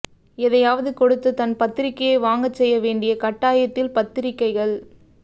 எதையாவது கொடுத்து தன் பத்திரிக்கையை வாங்கச் செய்யவேண்டிய கட்டாயத்தில் பத்திரிக்கைகள்